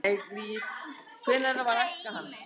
hvernig var æska hans